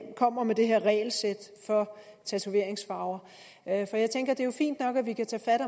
kommer med det her regelsæt for tatoveringsfarver jeg tænker at det jo er fint nok at vi kan tage fat